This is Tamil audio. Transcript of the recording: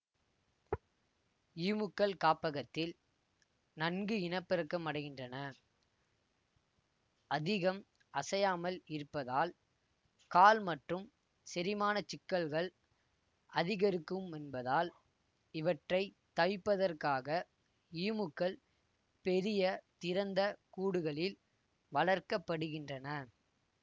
ஈமுக்கள் காப்பகத்தில் நன்கு இனப்பெருக்கமடைகின்றன அதிகம் அசையாமல் இருப்பதால் கால் மற்றும் செரிமானச் சிக்கல்கள் அதிகரிக்குமென்பதால் இவற்றைத் தவிப்பதற்காக ஈமுக்கள் பெரிய திறந்த கூடுகளில் வளர்க்க படுகின்றன